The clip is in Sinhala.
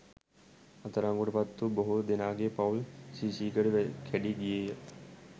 අත්අඩංගුවට පත් වූ බොහෝ දෙනාගේ පවුල් සීසීකඩ කැඩී ගියේය